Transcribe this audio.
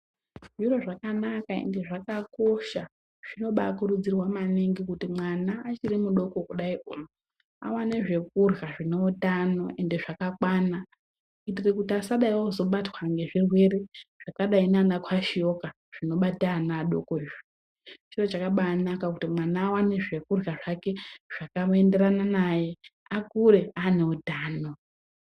Zviro zvakanaka ende xvakakosha zvimokurudzirwa maningi kuti mwana achiti mudoko kudai awane zvekudya zvineutano ande zvakakwana kutiasabatws ngezvirwete zvakadai ngaana ngaanakwashiyoka zvinobata ana adoko. Chiro chakanaka kuti mwana aone zvekudya zvake zvakaenderana naye kuti Akure ane utano.